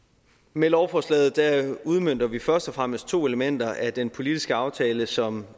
med lovforslaget udmønter vi først og fremmest to elementer af den politiske aftale som